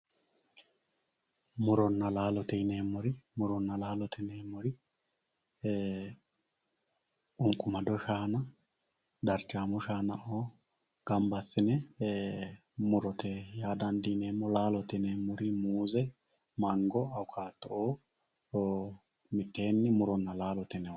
Murona laalote yineemmori e"ee ququmado shaana darchamo shaana gamba assine murote yaa dandiineemmo laalote yineemmori muuze Mango, Awukkado mitteenni muronna laalote yine woshshinanni.